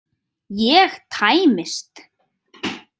Ég tæmist.